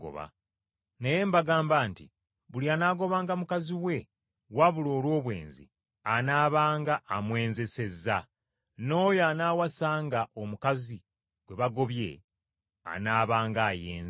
Naye mbagamba nti Buli anaagobanga mukazi we wabula olw’obwenzi anaabanga amwenzesezza, n’oyo anaawasanga omukazi gwe bagobye anaabanga ayenze.”